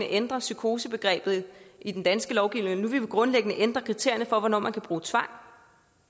ændre psykosebegrebet i den danske lovgivning at de nu grundlæggende vil ændre kriterierne for hvornår man kan bruge tvang